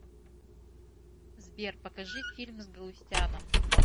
сбер покажи фильм с галустяном